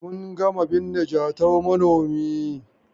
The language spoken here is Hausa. Mun gama binne Jatau manomi.